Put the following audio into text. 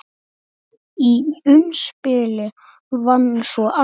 Í umspili vann svo Axel.